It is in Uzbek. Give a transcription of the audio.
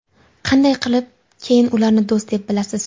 Qanday qilib keyin ularni do‘st deb bilasiz?